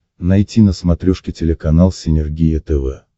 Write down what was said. найти на смотрешке телеканал синергия тв